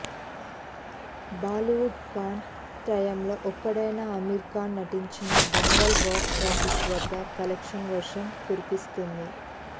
బాలీవుడ్ ఖాన్ త్రయంలో ఒకడైన అమీర్ ఖాన్ నటించిన దంగల్ బాక్సాఫీసు వద్ద కలెక్షన్ల వర్షం కురిపిస్తోంది